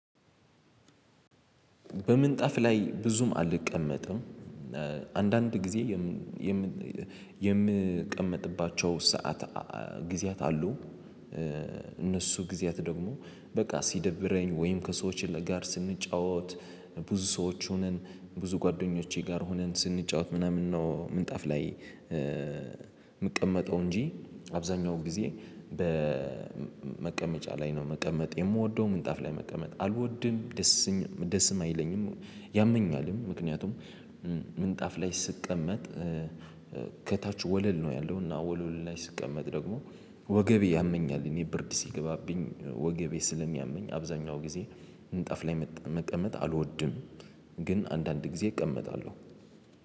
በምንጣፍ ላይ ብዙም አልቀመጥም። አንዳንድ ጊዜ የምን የምቀመጥባቸው ሰዓት ጊዜያት አሉ። እነሱ ጊዜያት ደግሞ በቃ ሲደብረኝ ወይም ከሰዎች ጋር ስንጫወት። ብዙ ሰዎች ሆነን ብዙ ጓደኞቼ ጋር ሆነን ስንጫወት ምናምን ነው ምንጣፍ ላይ የምቀመጠው እንጂ። አብዛኛው ጊዜ በመቀመጫ ላይ ነው መቀመጥ የምወደው ምንጣፍ ላይ መቀመጥ አልወድም። ደስም አይለኝም። ያመኛልም ምክንያቱም ምንጣፍ ላይ ስቀመጥ። ከታች ወለል ነው ያለው እና ወለል ላይ ስቀመጥ ደግሞ ወገቤ ያመኛል። እኔ ብርድ ሲገባብኝ ወገቤ ስለሚያመኝ አብዛኛው ጊዜ ምንጣፍ ላይ መቀመጥ አልወድም። ግን አንዳንድ ጊዜ እቀመጣለሁ